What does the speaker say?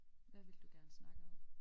Hvad vil du gerne snakke om?